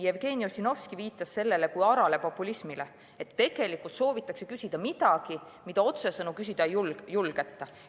Jevgeni Ossinovski viitas sellele kui arale populismile: tegelikult soovitakse küsida midagi, mida otsesõnu küsida ei julgeta.